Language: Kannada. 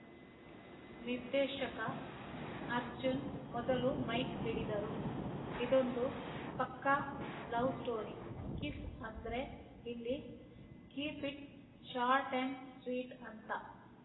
ನಿರ್ದೇಶಕ ಅರ್ಜುನ್‌ ಮೊದಲು ಮೈಕ್‌ ಹಿಡಿದರು ಇದೊಂದು ಪಕ್ಕಾ ಲವ್‌ ಸ್ಟೋರಿ ಕಿಸ್‌ ಅಂದ್ರೆ ಇಲ್ಲಿ keep it short and sweet ಅಂತ